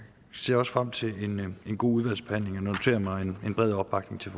ser også frem til en god udvalgsbehandling og har noteret mig en bred opbakning til